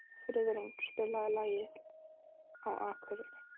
Friðrún, spilaðu lagið „Á Akureyri“.